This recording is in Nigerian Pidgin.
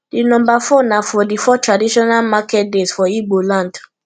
di nomba four na for di four traditional market days for igbo land